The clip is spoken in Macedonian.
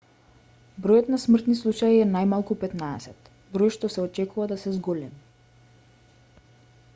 бројот на смртни случаи е најмалку 15 број што се очекува да се зголеми